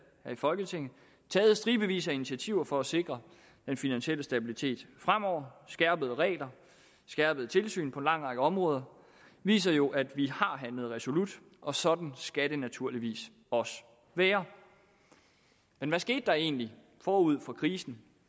her i folketinget taget stribevis af initiativer for at sikre den finansielle stabilitet fremover skærpede regler skærpet tilsyn på en lang række områder viser jo at vi har handlet resolut og sådan skal det naturligvis også være men hvad skete der egentlig forud for krisen